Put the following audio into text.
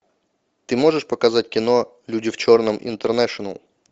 ты можешь показать кино люди в черном интернэшнл